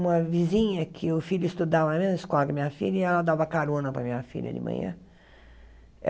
Uma vizinha, que o filho estudava na mesma escola que a minha filha, e ela dava carona para a minha filha de manhã.